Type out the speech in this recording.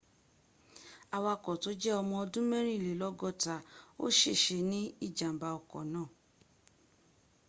awako to je omo odun 64 o sese ni ijamba oko naa